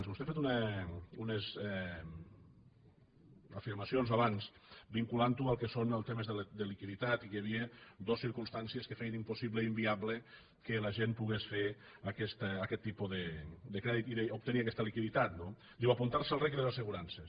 vostè ha fet unes afirmacions abans vinculant ho al que són els temes de liquiditat i que hi havia dues circumstàncies que feien impossible i inviable que la gent pogués fer aquest tipus de crèdit i obtenir aquesta liquiditat no diu apuntar se al reg i a les assegurances